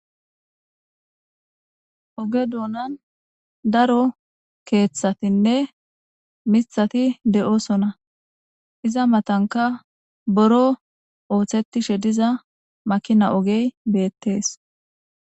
Oge doonan daro keeththatinne miththati de'osona. Iza matankka buro ooththetishe diza makina ogey beettes.